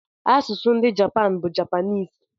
Asụsụ ndị Japan bụ Japanịịs.